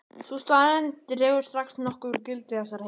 Sú staðreynd dregur strax nokkuð úr gildi þessarar heimildar.